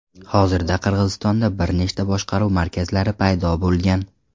Hozirda Qirg‘izistonda bir nechta boshqaruv markazlari paydo bo‘lgan.